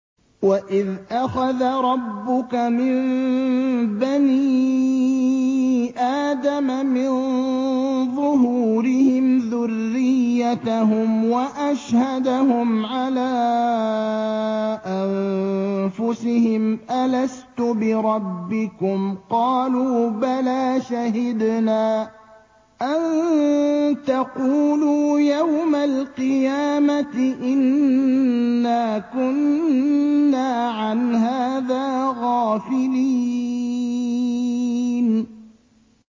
وَإِذْ أَخَذَ رَبُّكَ مِن بَنِي آدَمَ مِن ظُهُورِهِمْ ذُرِّيَّتَهُمْ وَأَشْهَدَهُمْ عَلَىٰ أَنفُسِهِمْ أَلَسْتُ بِرَبِّكُمْ ۖ قَالُوا بَلَىٰ ۛ شَهِدْنَا ۛ أَن تَقُولُوا يَوْمَ الْقِيَامَةِ إِنَّا كُنَّا عَنْ هَٰذَا غَافِلِينَ